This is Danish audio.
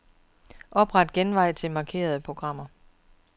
Opret genvej til markerede program.